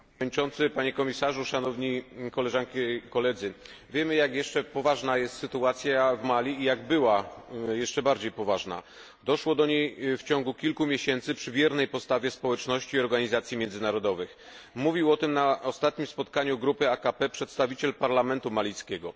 Dziękuję bardzo, Panie Przewodniczący! Panie Komisarzu! Szanowne Koleżanki i Koledzy! Wiemy, jak ciągle poważna jest sytuacja w Mali i że była jeszcze bardziej poważna. Doszło do niej w ciągu kilku miesięcy przy biernej postawie społeczności i organizacji międzynarodowych. Mówił o tym na ostatnim spotkaniu grupy AKP przedstawiciel parlamentu malijskiego.